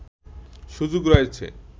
সুযোগ রয়েছে